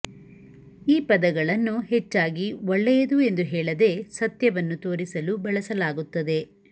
ಈ ಪದಗಳನ್ನು ಹೆಚ್ಚಾಗಿ ಒಳ್ಳೆಯದು ಎಂದು ಹೇಳದೆ ಸತ್ಯವನ್ನು ತೋರಿಸಲು ಬಳಸಲಾಗುತ್ತದೆ